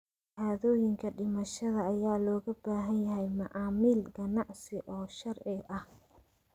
Shahaadooyinka dhimashada ayaa looga baahan yahay macaamil ganacsi oo sharci ah.